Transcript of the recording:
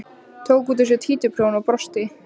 Tók út úr sér títuprjón og brosti.